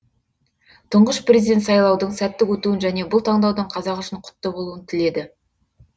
тұңғыш президент сайлаудың сәтті өтуін және бұл таңдаудың қазақ үшін құтты болуын тіледі